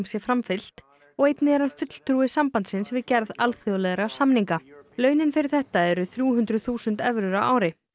sé framfylgt og einnig er hann fulltrúi sambandsins við gerð alþjóðlegra samninga launin fyrir þetta eru þrjú hundruð þúsund evrur á ári